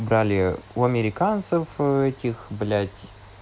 брали у американцев этих блять